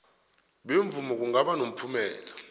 bemvumo kungaba nomphumela